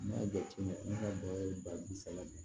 N'a jate minɛ ne ka baara ye ba bi saba ye